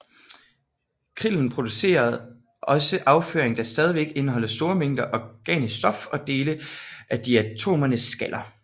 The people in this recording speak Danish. Krillen producerer også afføring der stadig indeholder store mængder organisk stof og dele af diatomeernes skaller